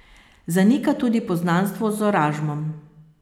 Zanika tudi poznanstvo z Oražmom.